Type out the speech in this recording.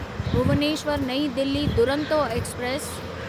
Bhubaneswar New Delhi Duronto express